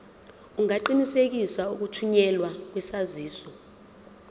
ungaqinisekisa ukuthunyelwa kwesaziso